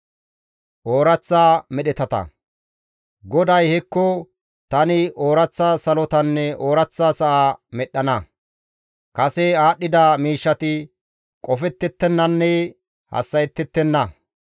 GODAY, «Hekko, tani ooraththa salotanne ooraththa sa7a medhdhana; kase aadhdhida miishshati qofettettennanne hassa7ettettenna.